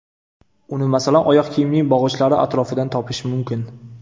Uni masalan oyoq kiyimning bog‘ichlari atrofidan topish mumkin.